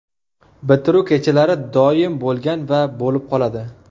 Bitiruv kechalari doim bo‘lgan va bo‘lib qoladi.